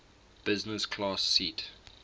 business class seat